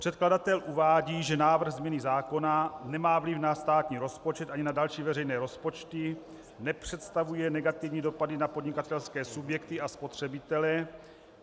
Předkladatel uvádí, že návrh změny zákona nemá vliv na státní rozpočet ani na další veřejné rozpočty, nepředstavuje negativní dopady na podnikatelské subjekty a spotřebitele.